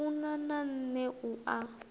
funa na nṋe u a